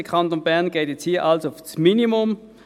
Der Kanton Bern geht hier also auf das Minimum.